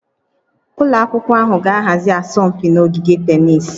Ụlọ akwụkwọ ahụ ga-ahazi asọmpi na ogige tennis